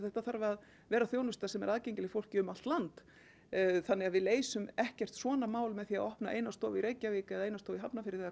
þetta þarf að vera þjónusta sem er aðgengileg fólki um allt land þannig að við leysum ekkert svona mál með því að opna eina stofu í Reykjavík eða eina stofu í Hafnarfirði